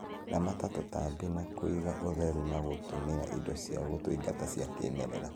Ramata tũtambi na kuiga ũtheru na gũtũmĩra indo cia gũtũingata cia kĩmerera